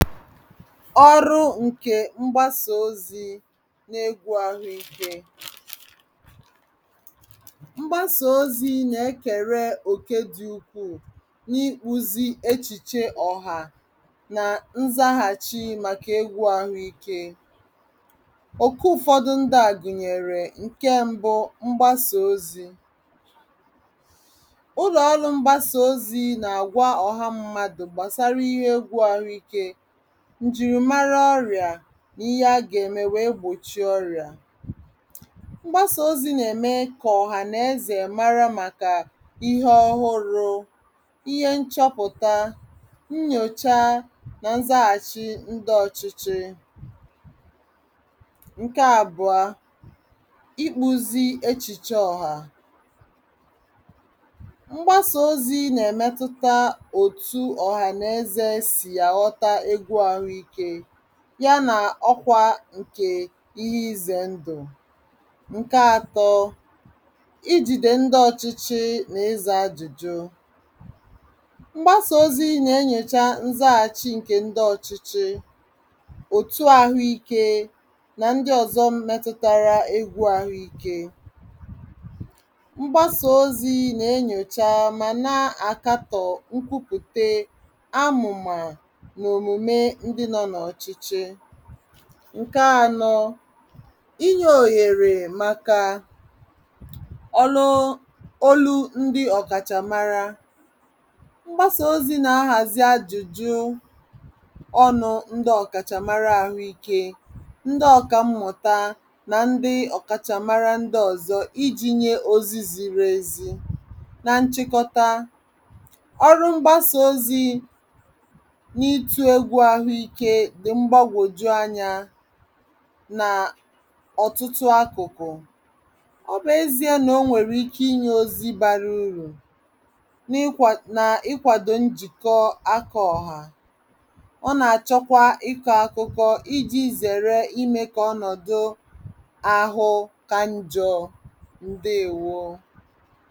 ọrụ nke mgbàsà òzì n’egwù àhụ́ị̀ké mgbàsà òzì na-èkèrè òké dị̀ ukwu n’íkpùzí èchìchè ọ̀hà nà nzàghàchí màkà egwù àhụ́ị̀ké òké ụfọdụ ndíà gụ̀nyèrè; ǹkè mbu, mgbàsà òzì ǹlụ̀ọ̀rụ̀ mgbàsà òzì na-àgwà ọ̀hà mmádụ gbasàrà íhè egwù àhụ́ị̀ké, ǹjìrì màrà ọ́ríà nà íhè àgà-ème wèe gbochie ọ́ríà mgbàsà òzì nà-ème kà ọ̀hànaèzè màrà màkà íhè òhùrù̇, íhè nchọ̀pụ̀tà, nyòchá nà nzàghàchí ndí ọ̀chịchì ǹkè àbùọ íkpùzí èchìchè ọ̀hà mgbàsà òzì nà-èmetùtà òtù ọ̀hànaèzè sị̀ àghọ́tà egwù àhụ́ị̀ké yà nà ọ̀kwá ǹkè íhè ízè ndú ǹkè àtọ̇ íjìdè ndí ọ̀chịchì nà ízà ajụ̀jụ mgbàsà òzì nà-ènyòchá nzàghàchí ǹkè ndí ọ̀chịchì òtù àhụ́ị̀ké nà ndí ọ̀zọ̀ mmètùtárà egwù àhụ́ị̀ké mgbàsà òzì nà-ènyòchá mà nà-àkàtò nkwùpụ̀tà, àmùmà nà òmùmè ndí nọ n’ọ̀chịchì ǹkè ànọ̇ ínyè òyèrè màkà ọ̀lụ̀ òlù ndí ọ̀kàchàmàrà mgbàsà òzì nà nàhàzí ajụ̀jụ ọnụ̄ ndí ọ̀kàchàmàrà àhụ́ị̀ké, ndí ọ̀kàmmụ̀tà nà ndí ọ̀kàchàmàrà ndí ọ̀zọ̀ iji̇ nyè òzì zìrì èzí nà nchikòta ọ̀rụ̀ mgbàsà òzì n’ítù egwù àhụ́ị̀ké dị̇ mgbagwoju ànyà nà ọ̀tụtụ àkụ̀kụ̀ ọ bụ̀ èzìe nà ò nwèrè ike ínyè òzì bàrà ùrù nà íkwàdò njìkọ àkọ̀ ọ̀hà, ọ nà-àchọ̣kwá ìkọ̇ àkụ̀kụ̀ iji̇ zèrè ímè kà ọnọ̀dụ̀ àhụ́ kà njọ̇ ǹdèèwó